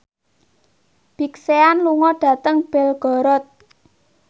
Big Sean lunga dhateng Belgorod